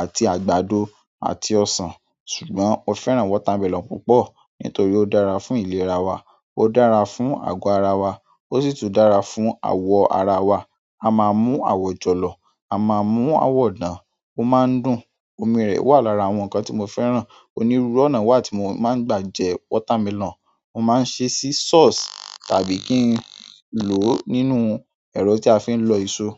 àti àgbàdo àti ọsàn. Ṣùgbọ́n mo fẹ́ràn watermelon púpọ̀ nítorí ó dára fún ìlera wa, ó dára fún àgọ́ ara wa, ó sì tún dára fún àwọ̀ ara wa. A máa mú àwọ̀ jọ̀lọ̀, a máa mú àwọ̀ dàn, ó máa ń dùn, omi rẹ̀ wà lára àwọn nǹkan tí mo fẹ́ràn. Onírúurú ọ̀nà wà tí mo máa ń gbà jẹ watermelon. Mo máa ń ṣe sí sauce tàbí kí n lò ó nínú ẹ̀rọ tí a fi ń lọ èso.